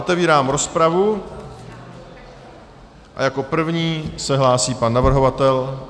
Otevírám rozpravu a jako první se hlásí pan navrhovatel.